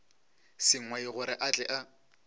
sengwai gore a tle a